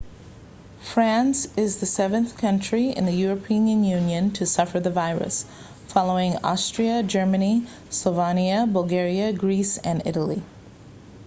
france is the seventh country in the european union to suffer this virus following austria germany slovenia bulgaria greece and italy